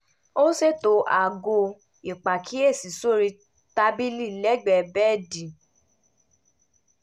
ó sètò aago ìpàkíyèsí sórí tábìlì lẹ́gbẹ̀ẹ́ bẹ́ẹ̀dì